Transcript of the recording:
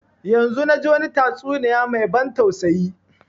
Yanzun na ji wani tastuniya mai ban tausayi